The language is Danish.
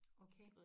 Okay